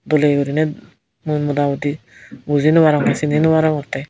dole uriney mui mota muti bujinobarongor sini no arongotte.